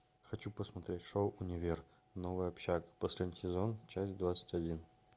хочу посмотреть шоу универ новая общага последний сезон часть двадцать один